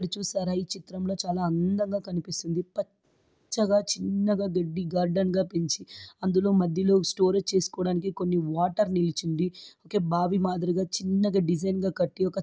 ఈ చిత్రంలో అందంగా కనిపిస్తుంది పచ్చగా చిన్నగా గడ్డి గార్డెన్ లా పెంచి అందులో మధ్యలో స్టోరేజ్ చేసుకోవడానికి కొన్ని వాటర్ నిలిచింద బాబీ మాదిరిగా చిన్నగా డిజైన్ కట్టి--